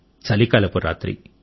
చలికాలపు రాత్రి